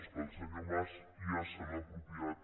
és que el senyor mas ja se l’ha apropiat